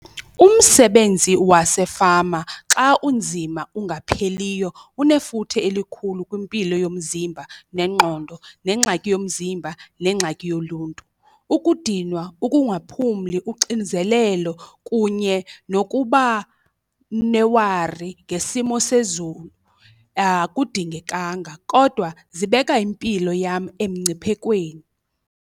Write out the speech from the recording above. Umsebenzi wasefama xa unzima ungapheliyo unefuthe elikhulu kwimpilo yomzimba nengqondo nengxaki yomzimba nengxaki yoluntu. Ukudinwa ukungaphumli, uxinzelelo kunye nokuba newari ngesimo sezulu, akudingekanga kodwa zibeka impilo yam emngciphekweni.